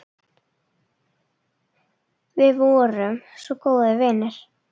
Við vorum svo góðir vinir.